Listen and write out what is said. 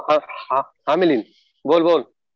हा हा मिलिंद. बोल बोल.